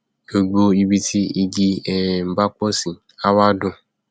gbogbo ibi tí igi um bá pọ sí a wá dùn